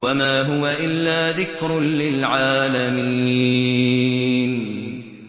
وَمَا هُوَ إِلَّا ذِكْرٌ لِّلْعَالَمِينَ